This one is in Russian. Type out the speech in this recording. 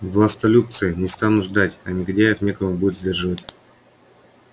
властолюбцы не станут ждать а негодяев некому будет сдерживать